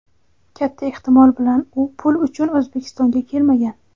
Katta ehtimol bilan u pul uchun O‘zbekistonga kelmagan.